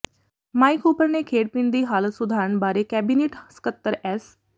mic Hooper ਨੇ ਖੇਡ ਪਿੰਡ ਦੀ ਹਾਲਤ ਸੁਧਾਰਨ ਬਾਰੇ ਕੈਬਨਿਟ ਸਕੱਤਰ ਐਸ